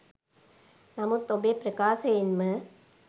නමුත් ඔබේ ප්‍රකාශයෙන්ම